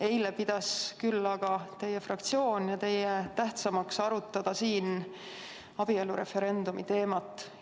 Eile pidasite teie ja teie fraktsioon tähtsamaks arutada siin abielureferendumi teemat.